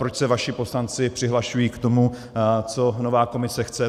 Proč se vaši poslanci přihlašují k tomu, co nová Komise chce.